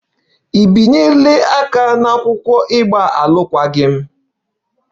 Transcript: Ị bịanyere aka n'akwụkwọ ịgba alụkwaghịm?